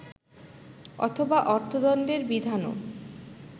অথবা অর্থদণ্ডের বিধানও